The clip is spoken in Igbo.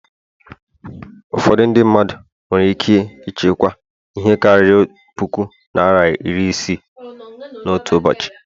Ụfọdụ Ndị mmadụ nwere ike ịchekwa ihe karịrị puku naịra iri isii n'otu ụbọchị